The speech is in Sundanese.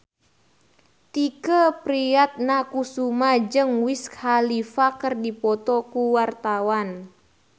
Tike Priatnakusuma jeung Wiz Khalifa keur dipoto ku wartawan